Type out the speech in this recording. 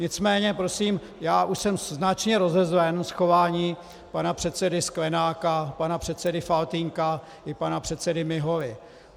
Nicméně prosím, já už jsem značně rozezlen z chování pana předsedy Sklenáka, pana předsedy Faltýnka i pana předsedy Miholy.